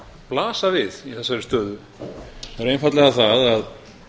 blasa við í þessari stöðu það er einfaldlega það að